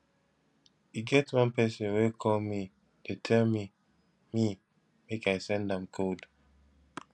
e get one person wey call me dey tell me me make i send am code